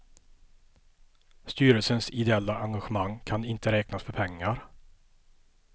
Styrelsens ideella engagemang kan inte räknas för pengar.